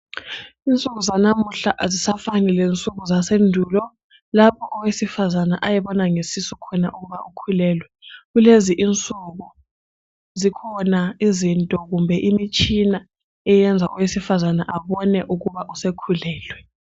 Insuku zanamuhla azisafani lensuku zasendulo lapho owesifazane ayebona ngesisu khona ukuthi ukhulelwe. Kulezi insuku zikhona izinto kumbe imitshina eyenza owesifazana abone ukuba usekhulelwe.